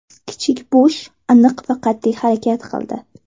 Kichik Bush aniq va qat’iy harakat qildi.